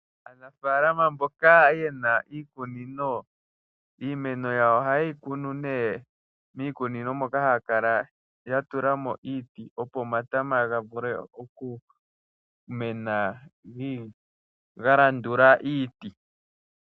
Aanafaalama mjoka ye na iikunino, iimeno yawo ohaye yikunu miikunino moka yatula mo iiti opo omatama gavule okumena galandula iiti.